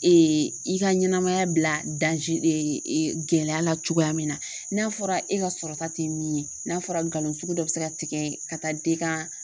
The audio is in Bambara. i ka ɲɛnɛmaya bila gɛlɛya la cogoya min na n'a fɔra e ka sɔrɔta tɛ min ye n'a fɔra galon sugu dɔ bɛ se ka tigɛ ka taa d'e ka